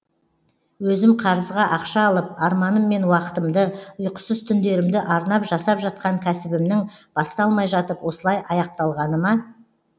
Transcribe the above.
өзім қарызға ақша алып арманым мен уақытымды ұйқысыз түндерімді арнап жасап жатқан кәсібімнің басталмай жатып осылай аяқталғаны ма